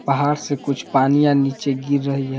पहाड़ से कुछ पानीयां नीचे गिर रही है।